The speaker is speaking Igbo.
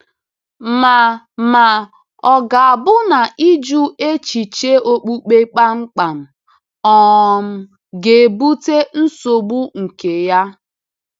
Ma Ma, ọ̀ ga-abụ na ịjụ echiche okpukpe kpamkpam um ga-ebute nsogbu nke ya?